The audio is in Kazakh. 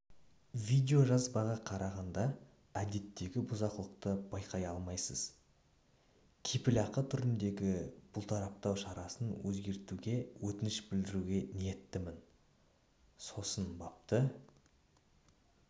видеожазбаға қарағанда әдеттегі бұзақылықты байқай алмайсыз кепілақы түріндегі бұлтартпау шарасын өзгертуге өтініш беруге ниеттімін сосын бапты